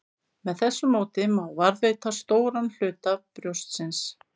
Með þessu móti má varðveita stóran hluta brjóstsins.